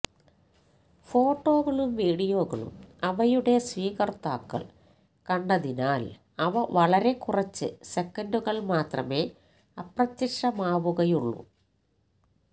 ഫോട്ടോകളും വീഡിയോകളും അവയുടെ സ്വീകർത്താക്കൾ കണ്ടതിനാൽ അവ വളരെ കുറച്ച് സെക്കന്റുകൾ മാത്രമേ അപ്രത്യക്ഷമാകുകയുള്ളൂ